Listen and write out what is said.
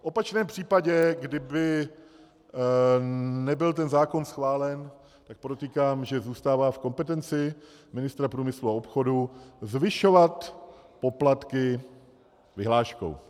V opačném případě, kdyby nebyl ten zákon schválen, tak podotýkám, že zůstává v kompetenci ministra průmyslu a obchodu zvyšovat poplatky vyhláškou.